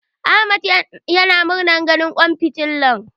Ahmad yana murna ganin kalar ƙwan fitilar.